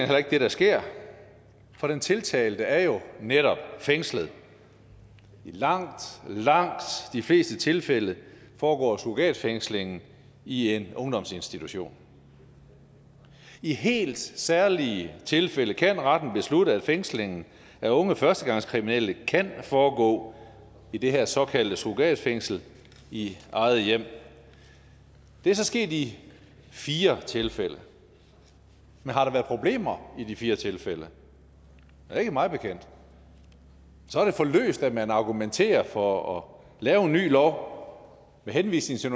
heller ikke det der sker for den tiltalte er jo netop fængslet i langt langt de fleste tilfælde foregår surrogatfængslingen i en ungdomsinstitution i helt særlige tilfælde kan retten beslutte at fængslingen af unge førstegangskriminelle kan foregå i det her såkaldte surrogatfængsel i eget hjem det er så sket i fire tilfælde men har der været problemer i de fire tilfælde ikke mig bekendt så er det for løst at man argumenterer for at lave en ny lov med henvisning til